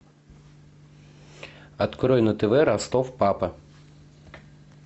открой на тв ростов папа